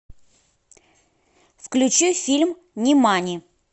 включи фильм нимани